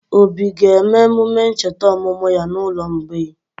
Obi ga-eme emume ncheta ọmụmụ ya n'ụlọ mgbei?